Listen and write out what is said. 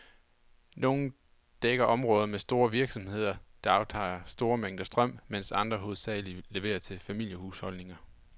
Nogle dækker områder med store virksomheder, der aftager store mængder strøm, mens andre hovedsageligt leverer til familiehusholdninger.